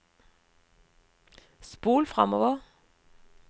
spol framover